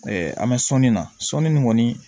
an bɛ sɔɔni na sɔni nin kɔni